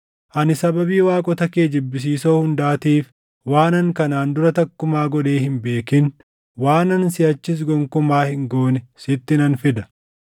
Ani sababii waaqota kee jibbisiisoo hundaatiif waanan kanaan dura takkumaa godhee hin beekin, waanan siʼachis gonkumaa hin goone sitti nan fida.